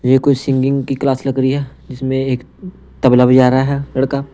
ये कोई सिंगिंग की क्लास लग रही है जिसमें एक तबला बजा रहा है लड़का।